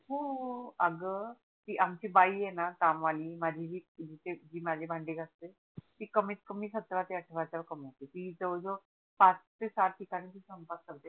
हो अग ती आमची बाई आहे णा काम वाली माझी जी माझे भांडे घासते ती कमीत कामी सतरा ते अठरा हजार कमावते ती जवड जवड पाच ते सात ठिकाणी ती स्वयंपाक करते